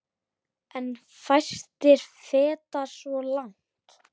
En fæstir feta svo langt.